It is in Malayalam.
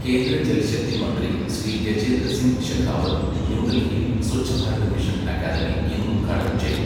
കേന്ദ്ര ജൽ ശക്തി മന്ത്രി ശ്രീ ഗജേന്ദ്ര സിങ് ശെഖാവത്ത് ന്യൂഡൽഹിയിൽ സ്വച്ഛ് ഭാരത് മിഷൻ അക്കാദമി ഇന്ന് ഉദ്ഘാടനം ചെയ്തു.